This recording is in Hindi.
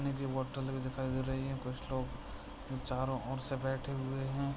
बॉटल भी दिखाई दे रही हैं। कुछ लोग चारो और से बेठे हुए है।